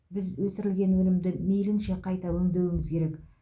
біз өсірілген өнімді мейлінше қайта өңдеуіміз керек